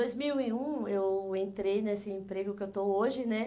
Em dois mil e um, eu entrei nesse emprego que eu estou hoje, né?